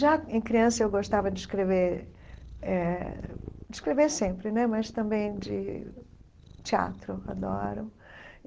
Já em criança, eu gostava de escrever eh de escrever sempre né, mas também de teatro, adoro.